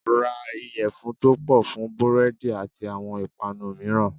Ra ìyẹ̀fun tó pọ̀ fún búrẹ́dì àti àwọn ìpànu mìíràn.